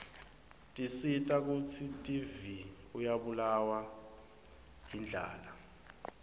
tisita kutsi divie uryabulawa yirdlala